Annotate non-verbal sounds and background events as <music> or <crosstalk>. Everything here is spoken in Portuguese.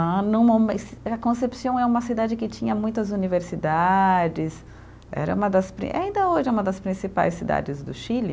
<unintelligible> A Concepción é uma cidade que tinha muitas universidades, era uma das prin, ainda hoje é uma das principais cidades do Chile.